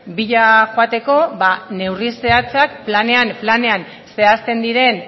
bila joateko ba neurri zehatzak planean planean zehazten diren